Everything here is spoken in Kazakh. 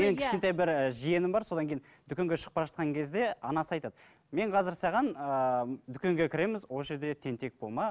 менің кішкентай бір ііі жиенім бар содан кейін дүкенге шығып бара жатқан кезде анасы айтады мен қазір саған ыыы дүкенге кіреміз осы жерде тентек болма